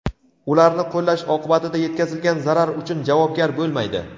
ularni qo‘llash oqibatida yetkazilgan zarar uchun javobgar bo‘lmaydi.